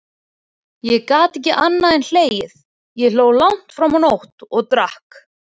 Ég gat ekki annað en hlegið, ég hló langt fram á nótt, og drakk.